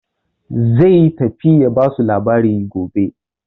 Zai tafi ya ba su labari gobe.